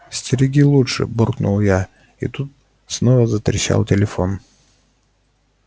стереги лучше буркнул я и тут снова затрещал телефон